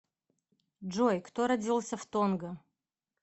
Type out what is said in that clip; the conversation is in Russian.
джой кто родился в тонга